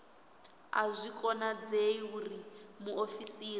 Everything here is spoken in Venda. a zwi konadzei uri muofisiri